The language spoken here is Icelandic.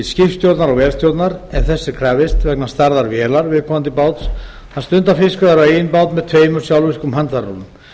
skipstjórnar og vélstjórnar ef þess er krafist vegna stærðar vélar viðkomandi báts að stunda fiskveiðar á eigin bát með tveimur sjálfvirkum handfærarúllum